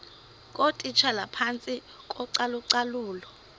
ngootitshala phantsi kocalucalulo